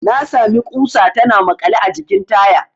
Na sami ƙusa tana makale a jikin taya.